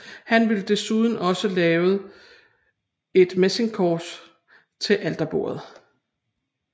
Han vil desuden også lavet et messingkors til alterbordet